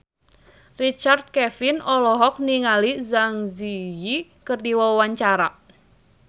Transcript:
Richard Kevin olohok ningali Zang Zi Yi keur diwawancara